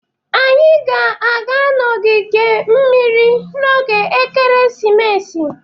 Anyị ga-aga na ogige mmiri n'oge ekeresimesi.